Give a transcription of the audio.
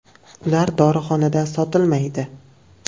Ular dorixonalarda sotilmaydi.